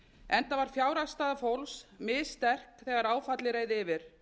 enda var fjárhagsstaða fólks missterk þegar áfallið reið yfir